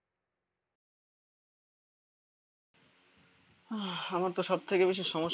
আহ আমার তো সব থেকে বেশি সমস্যা